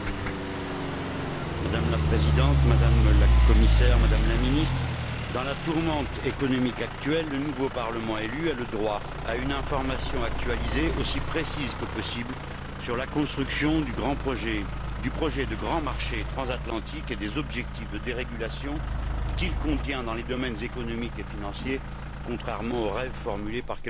Madame la Présidente, Madame la Commissaire, Madame la Ministre, dans la tourmente économique actuelle, le nouveau Parlement élu a le droit à une information actualisée aussi précise que possible sur la construction du projet de grand marché transatlantique et sur les objectifs de dérégulation qu'il contient dans les domaines économique et financier, contrairement au rêve formulé par quelques uns de nos collègues.